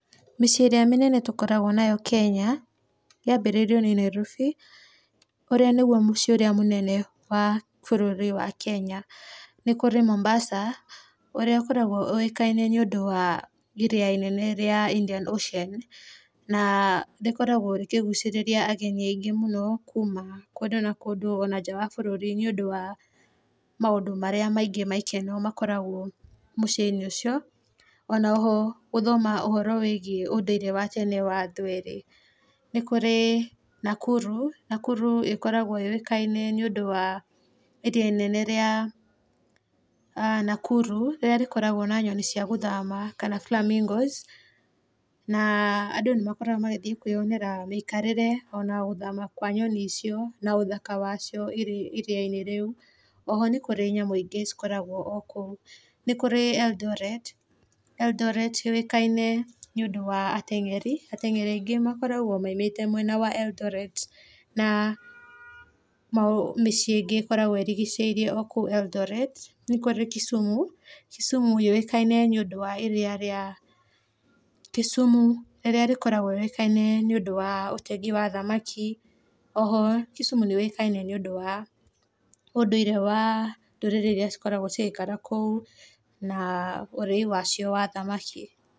Mĩciĩ ĩrĩa mĩnene tũkoragwo nayo Kenya, yanjĩrĩirio nĩ Nairobi ũrĩa nĩguo mũciĩ mũnene wa bũrũri wa Kenya, nĩ kũrĩ Mombasa ũrĩa ũkoragwo ũĩkaine nĩ ũndũ wa iria inene rĩa Indian Ocean, rĩkoragwo rĩkĩgucĩrĩria ageni aingĩ mũno kũndũ na kũndũ ona nja wa bũrũri nĩ ũndũ wa maũndũ marĩa maingĩ maikeno makoragwo mũciĩ-inĩ ũcio oroho gũthoma ũhoro wĩgie ũndũire wa tene wa andũ erĩ. Nĩ kũrĩ Nakuru, Nakuru ĩkoragwo yũĩkaine nĩ ũndũ wa iria inene rĩa Nakuru rĩrĩa rĩkoragwo na nyoni cia gũthama kana Flamingos na andũ nĩ makoragwo magĩthiĩ kwĩyonera mĩikarĩre ona gũthama kwa nyoni icio na ũthaka wacio iriainĩ rĩu, oho nĩ kũrĩ nyamũ ingĩ ikoragwo o kũu, nĩ kũrĩ Eldoret, Eldoret yũĩkaine nĩ ũndũ wa ateng'eri, ateng'eri aingĩ makoragwo maumĩte mwena wa Eldoret na mĩciĩ ingĩ ĩkoragwo ĩrigicĩirie Eldoret. Nĩ kũrĩ Kisumu, Kisumu yũĩkaine nĩ ũndũ wa iria rĩa Kisumu rĩrĩa rĩkoragwo rĩũkaine nĩ ũndũ wa ũtegi wa thamaki oho Kisumu nĩ yũĩkaine nĩ ũndũ wa ũndũire wa ndũrĩrĩ iria cirakaira kũu na ũrĩi wacio wa thamaki.